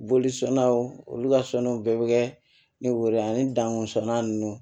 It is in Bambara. Boli sɔnnaw olu ka sɔnniw bɛɛ bɛ kɛ ni woro ani dan sɔnna ninnu